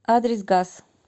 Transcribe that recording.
адрес гас